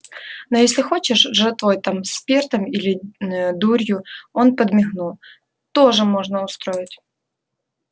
но если хочешь жратвой там спиртом или ээ дурью он подмигнул тоже можно устроить